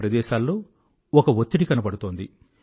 ఈ ప్రదేశాలు చెత్తగా ఉంటే ప్రజలు ఊరుకోరు అన్న అవగాహన కనబడుతోంది